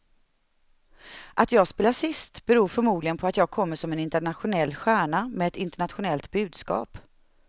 Att jag spelar sist beror förmodligen på att jag kommer som en internationell stjärna med ett internationellt budskap.